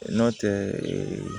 Nɔntɛ ee